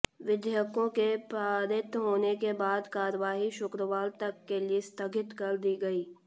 विधेयकों के पारित होने के बाद कार्यवाही शुक्रवार तक के लिए स्थगित कर दी गई